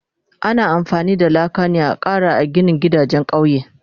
Ana amfani da laka ne da Kara a ginin gidajen kauye